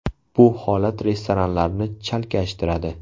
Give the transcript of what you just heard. Bu holat restoratorlarni chalkashtiradi.